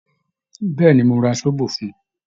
Bẹ́ẹ̀ ni, mo ra sóbò fún un